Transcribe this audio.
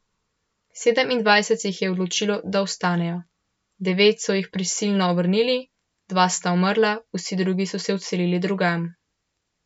Sedemindvajset se jih je odločilo, da ostanejo, devet so jih prisilno vrnili, dva sta umrla, vsi drugi so se odselili drugam.